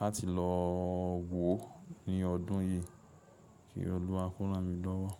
láti lọ wo ó ní ọdún yìí, kí Olúwa kó ràn mí lọ́wọ́.